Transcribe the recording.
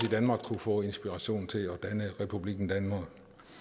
i danmark kunne få inspiration til at danne republikken danmark